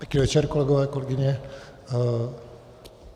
Pěkný večer, kolegové, kolegyně.